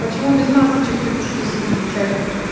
почему без масокчек петушки сидите в чате